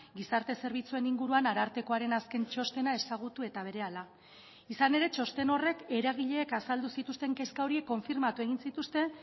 gizarte zerbitzuen inguruan arartekoaren azken txostena ezagutu eta berehala izan ere txosten horrek eragileek azaldu zituzten kezka horiek konfirmatu egin zituzten